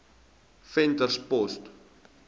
venterspost